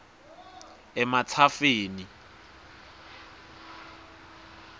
ematsafeni